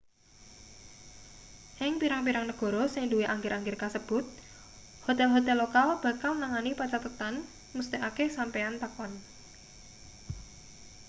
ing pirang-pirang negara sing duwe angger-angger kasebut hotel-hotel lokal bakal nangani pancathetan mesthekake sampeyan takon